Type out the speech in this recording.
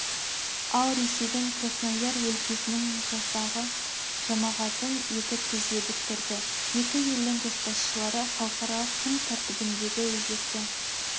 ал ресейдің краснояр өлкесінің жасағы жамағатын етіп тізе бүктірді екі елдің көшбасшылары халықаралық күн тәртібіндегі өзекті